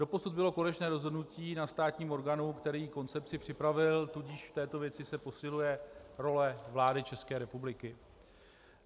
Doposud bylo konečné rozhodnutí na státním orgánu, který koncepci připravil, tudíž v této věci se posiluje role vlády České republiky.